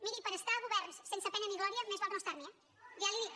miri per estar a governs sense pena ni glòria més val no estar hi eh ja li ho dic